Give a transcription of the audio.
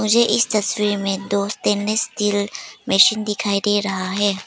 मुझे इस तस्वीर में दो स्टेनलेस स्टील मशीन दिखाई दे रहा है।